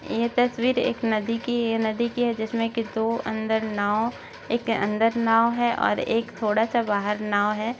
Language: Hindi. ये तस्वीर एक नदी की है नदी की है जिसमे कि दो अंदर नाव एक अंदर नाव है और एक थोड़ा सा बाहर नाव है।